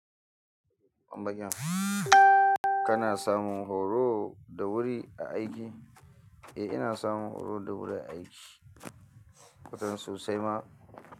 Bambagiya, kana samun horo da wuri a aiki? Eh, ina samun horo da wuri a aiki. Wataran sosai ma.